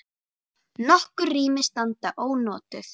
Nokkur rými standa ónotuð.